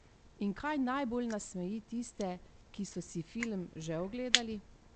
In kaj najbolj nasmeji tiste, ki so si film že ogledali?